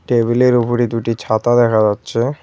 টেবিলের ওপরে দুইটি ছাতা দেখা যাচ্ছে।